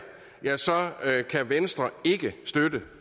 kan venstre ikke støtte